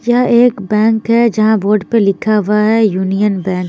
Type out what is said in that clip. यहाँ एक बैंक है जहा बोर्ड पर लिखा हुआ है यूनियन बैंक --